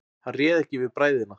Hann réð ekki við bræðina.